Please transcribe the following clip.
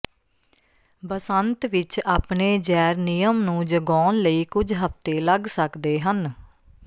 ਬਸੰਤ ਵਿਚ ਆਪਣੇ ਜੈਰਨੀਅਮ ਨੂੰ ਜਗਾਉਣ ਲਈ ਕੁਝ ਹਫਤੇ ਲੱਗ ਸਕਦੇ ਹਨ